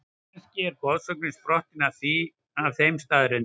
Kannski er goðsögnin sprottin af þeim staðreyndum?